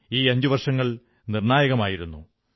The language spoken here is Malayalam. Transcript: ഈ അഞ്ചുവർഷങ്ങൾ നിർണ്ണായകമായിരുന്നു